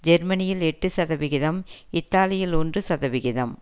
ஜெர்மனியில் எட்டு சதவிகிதம் இத்தாலியில் ஒன்று சதவிகிதம்